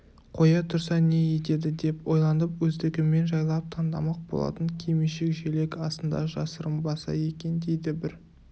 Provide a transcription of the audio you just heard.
қоя тұрса не етеді деп ойланып өздігімен жайлап таңдамақ болатын кимешек-желек астында жасырынбаса екен дейді бір